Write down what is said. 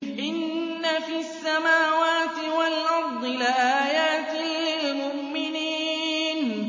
إِنَّ فِي السَّمَاوَاتِ وَالْأَرْضِ لَآيَاتٍ لِّلْمُؤْمِنِينَ